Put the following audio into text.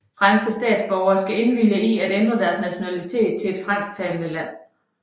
Franske statsborgere skal indvilge i at ændre deres nationalitet til et fransktalende land